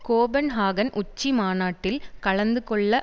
Copenhagen உச்சி மாநாட்டில் கலந்துகொள்ள